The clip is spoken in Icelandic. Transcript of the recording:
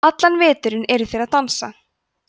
allan veturinn eru þeir að dansa